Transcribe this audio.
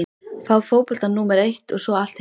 Fá fótboltann númer eitt og svo allt hitt?